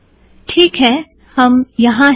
teak है - हम यहाँ हैं